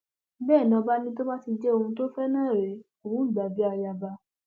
bẹẹ ni ọba ní tó bá ti jẹ òun tó fẹ náà rèé òun gbà á bíi ayaba